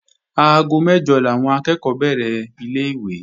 Aago mẹ́jọ làwọn akẹ́ẹ̀kọ́ bẹ̀rẹ̀ ilé-ìwé